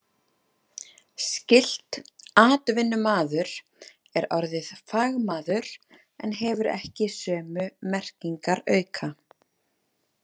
Skylt „atvinnumaður“ er orðið „fagmaður“ en hefur ekki sömu merkingarauka.